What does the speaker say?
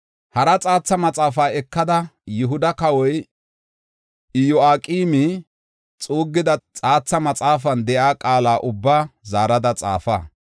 “Hara xaatha maxaafaa ekada, Yihuda kawoy Iyo7aqeemi xuuggida xaatha maxaafan de7iya qaala ubbaa zaarada xaafa.